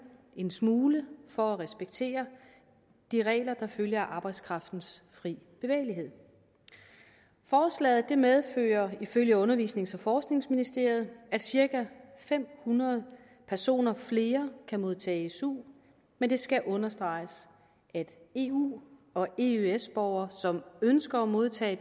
en smule for at respektere de regler der følger af arbejdskraftens fri bevægelighed forslaget medfører ifølge uddannelses og forskningsministeriet at cirka fem hundrede personer flere kan modtage su men det skal understreges at eu og eøs borgere som ønsker at modtage